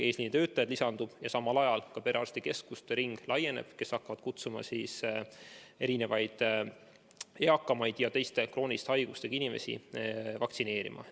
Eesliinitöötajaid lisandub ja samal ajal laieneb ka perearstikeskuste ring, kes hakkavad kutsuma eakaid ja teiste krooniliste haigustega inimesi vaktsineerima.